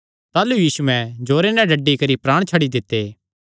ताह़लू यीशुयैं जोरे नैं डड्डी करी प्राण छड्डी दित्ते